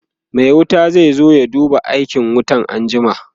Mai wuta zai zo ya duba aikin wutan anjima